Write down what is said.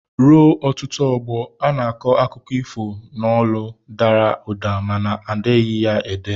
Ruo ọtụtụ ọgbọ, a na-akọ akụkọ ifo n'olu dara ụda mana edeghị ya ede.